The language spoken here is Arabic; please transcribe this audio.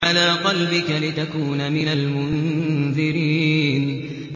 عَلَىٰ قَلْبِكَ لِتَكُونَ مِنَ الْمُنذِرِينَ